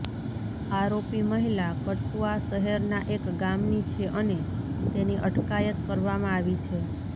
આરોપી મહિલા કઠુઆ શહેરના એક ગામની છે અને તેની અટકાયત કરવામાં આવી છે